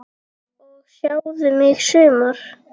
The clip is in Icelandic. og Sjáðu mig sumar!